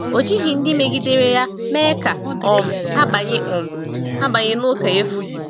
Ọ jighị ndị megidere ya mee ka um ha banye um ha banye n’ụka efu.